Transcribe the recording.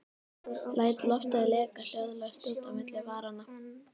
Læt loftið leka hljóðlaust út á milli varanna.